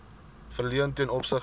verleen ten opsigte